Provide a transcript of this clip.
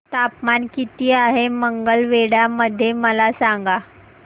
तापमान किती आहे मंगळवेढा मध्ये मला सांगा